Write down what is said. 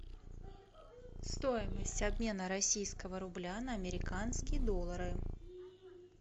стоимость обмена российского рубля на американские доллары